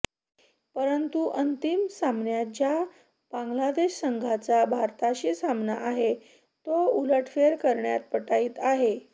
परंतु अंतिम सामन्यात ज्या बांग्लादेश संघाचा भारताशी सामना आहे तो उलटफेर करण्यात पटाईत आहे